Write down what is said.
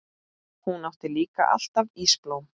Hún átti líka alltaf ísblóm.